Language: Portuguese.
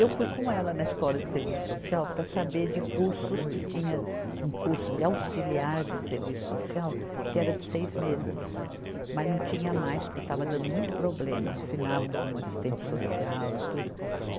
Eu fui com ela na Escola de Serviço Social para saber de cursos, que tinha um curso de auxiliar de serviço social, que era de seis meses, mas não tinha mais, porque estava dando muito problema, assinavam como assistente social e tudo.